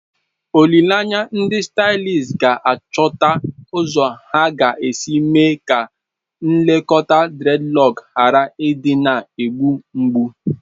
Olileanya, ndị stylists ga-achọta ụzọ ha ga-esi mee ka nlekọta dreadlock ghara ịdị na-egbu mgbu.